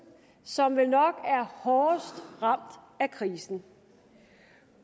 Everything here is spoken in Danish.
som vel nok er hårdest ramt af krisen